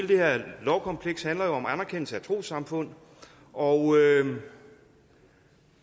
det her lovkompleks handler jo om anerkendelse af trossamfund og